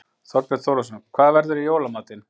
Þorbjörn Þórðarson: Hvað verður í jóla matinn?